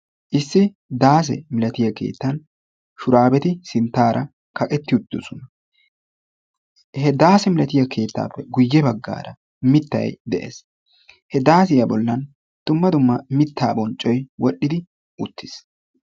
Issi daase milatiya keettan shuraabeti kaqetti uttidosona. He daase milatiya keettaappe guyye baggaara mittayi de"es. He daasiya bollan dumma dumma mittaa bonccoyi wodhdhidi uttis.